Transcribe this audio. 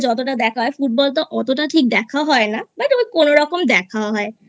যতটা দেখা হয় Club Football তো অতটা ঠিক দেখা হয় না But আমার কোনোরকম দেখা হয় I